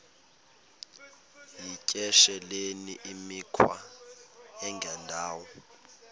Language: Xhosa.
yityesheleni imikhwa engendawo